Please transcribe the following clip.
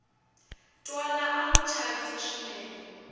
twala a wu chavisa swinene